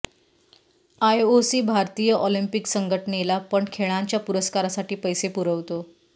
IOC भारतीय Olympic संघटनेला पण खेळांच्या पुरस्कारांसाठी पैसे पुरवतो